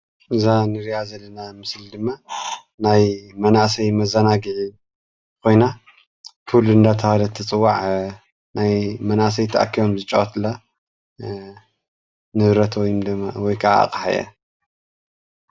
እዛ እንሪኣ ዘለና ሞስሊ ድማ ናይ መናእሰይ መዘናግዒ ኾይና ፑል እናተብሃለት ትፅዋዕ እያ። ናይ መናእሰይ ተእኪቦም ዝጻወቱላ ንብረት ወይ ድማ ኣቅሓ እያ።